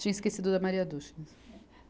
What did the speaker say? Tinha esquecido da Maria Duschenes